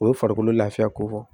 O ye farikolo lafiya ko fɔ